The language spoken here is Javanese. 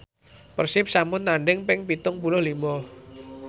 Persib sampun tandhing ping pitung puluh lima